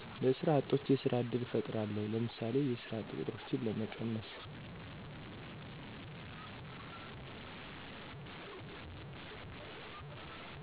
ለሰራ አጦች የስራ እድል እፍጥራለው ለምሳሌ የስራ እጥ ቆጥሮችን ለመቀነስ